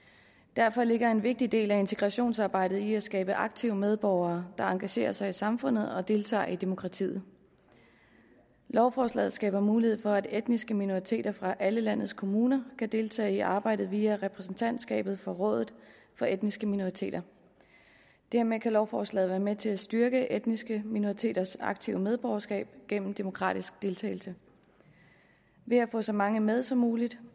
derfor ligger en vigtig del af integrationsarbejdet i at skabe aktive medborgere der engagerer sig i samfundet og deltager i demokratiet lovforslaget skaber mulighed for at de etniske minoriteter fra alle landets kommuner kan deltage i arbejdet via repræsentantskabet for rådet for etniske minoriteter dermed kan lovforslaget være med til at styrke etniske minoriteters aktive medborgerskab gennem en demokratisk deltagelse ved at få så mange med som muligt